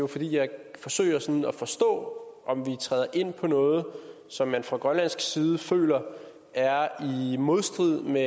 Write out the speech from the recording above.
for jeg forsøger jo sådan at forstå om vi træder ind på noget som man fra grønlandsk side føler er i modstrid med